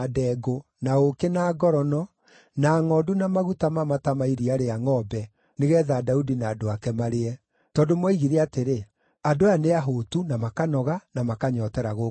na ũũkĩ na ngorono, na ngʼondu na maguta mamata ma iria rĩa ngʼombe, nĩgeetha Daudi na andũ ake marĩe. Tondũ moigire atĩrĩ, “Andũ aya nĩahũũtu, na makanoga, na makanyootera gũkũ werũ-inĩ.”